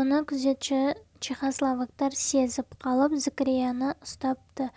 оны күзетші чехословактар сезіп қалып зікірияны ұстапты